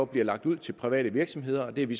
bliver lagt ud til private virksomheder og det er vi